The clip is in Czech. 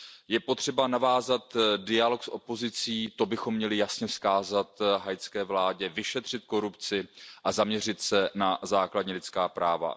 Je potřeba navázat dialog s opozicí, to bychom měli jasně vzkázat haitské vládě, vyšetřit korupci a zaměřit se na základní lidská práva.